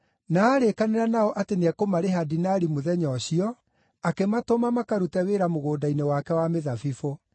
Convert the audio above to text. Na aarĩkanĩra nao atĩ nĩekũmarĩha dinari mũthenya ũcio, akĩmatũma makarute wĩra mũgũnda-inĩ wake wa mĩthabibũ.